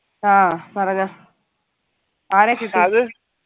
ആ പറഞ്ഞ ആരെ കിട്ടി